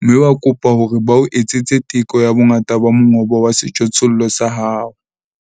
mme wa kopa hore ba o etsetse teko ya bongata ba mongobo wa sejothollo sa hao.